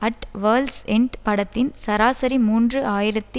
at world's end படத்தின் சராசரி மூன்று ஆயிரத்தி